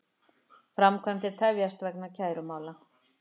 Framkvæmdir tefjast vegna kærumála